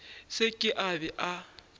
se ke a be a